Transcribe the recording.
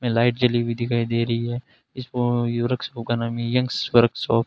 में लाइटें जली हुई दिखाई दे रही हैं इसको यूरोस इकोनामी यंग'एस वर्कशॉप --